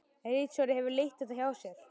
Ritstjóri hefur leitt þetta hjá sér.